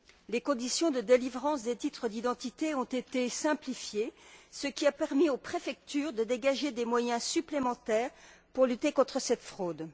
Les conditions de délivrance des titres d'identité ont été simplifiées, ce qui a permis aux préfectures de dégager des moyens supplémentaires pour lutter contre cette fraude.